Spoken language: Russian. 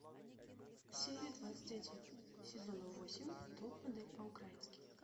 серия двадцать один сезона восемь топ модель по украински